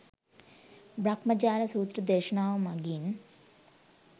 බ්‍රහ්මජාල සූත්‍ර දේශනාව මගින්,